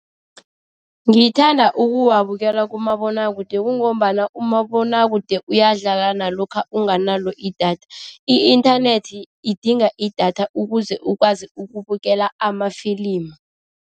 Ngithanda ukuwabukela kumabonwakude kungombana umabonwakude uyadlala nalokha unganalo idatha, i-inthanethi idinga idatha ukuze ukwazi ukubukela amafilimu.